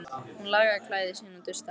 Hún lagaði klæði sín og dustaði af þeim.